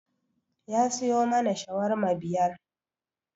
Ya siyo mana shawarma biyar